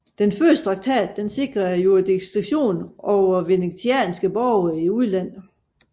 Den første traktat sikrede jurisdiktion over venetianske borgere i udlandet